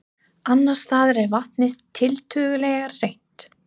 Annars staðar er vatnið tiltölulega hreint.